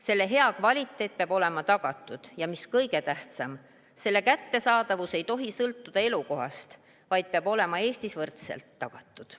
Selle hea kvaliteet peab olema tagatud, ja mis kõige tähtsam, selle kättesaadavus ei tohi sõltuda elukohast, vaid peab olema Eestis võrdselt tagatud.